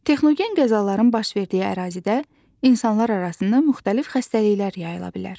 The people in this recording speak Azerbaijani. Texnogen qəzaların baş verdiyi ərazidə insanlar arasında müxtəlif xəstəliklər yayıla bilər.